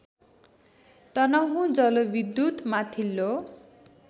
तनहुँ जलविद्युत् माथिल्लो